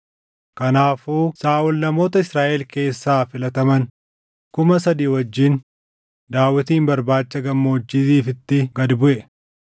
Kanaafuu Saaʼol namoota Israaʼel keessaa filataman kuma sadii wajjin Daawitin barbaacha Gammoojjii Ziifitti gad buʼe.